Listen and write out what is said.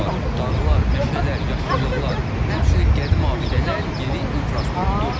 Dağlar, meşələr, yaşıllıqlar, həmçinin qədim abidələr, yeni infrastruktur.